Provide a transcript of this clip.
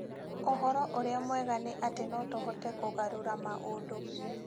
Ũhoro ũrĩa mwega nĩ atĩ no tũhote kũgarũra maũndũ.